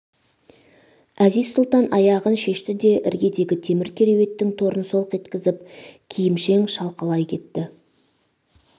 әзиз сұлтан аяғын шешті де іргедегі темір кереуеттің торын солқ еткізіп киімшең шалқалай кетті